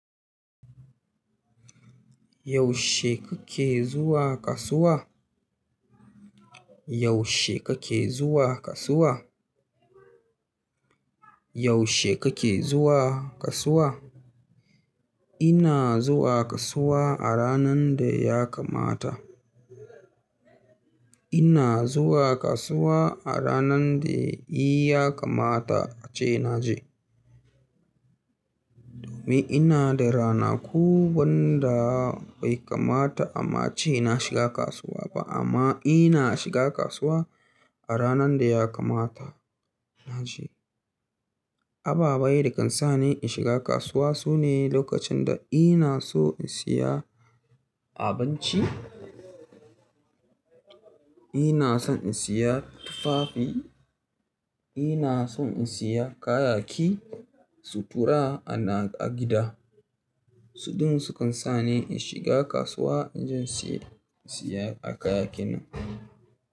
Yaushe kake zuwa kasuwa? Yaushe kake zuwa kasuwa? Yaushe kake zuwa kasuwa? Ina zuwa kasuwa a ranar da ya kamata. Ina zuwa kasuwa a ranar da ya kamata ace na je. Domin ina da ranaku wanda bai kamata ama ce na shiga kasuwa ba, amma ina shiga kasuwa a ranar da ya kamata na je. Ababai da kan sa ni in shiga kasuwa sune: lokacin da inaso in siya abinci, ina son in siya tufafi, ina son in siya kayayyaki, sutura ana a gida. Suɗin su kan sa ni in shiga kasuwa inje in siya kayaki nan.